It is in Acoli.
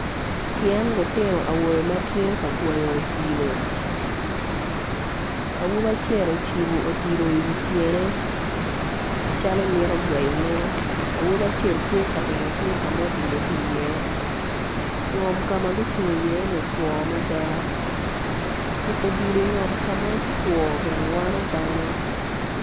Tyen lutino awobe ma gitye ka gweyo odilo awobi acel ocibo odilo i wi tyene calo mito gweyone awobi acel tye ka ringo tung ka ma odilo tye iye ngom ka ma gucung iye ni otwo mada tuko odilo ka ma otwo bene wano dano.